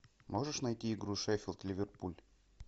можешь найти игру шеффилд ливерпуль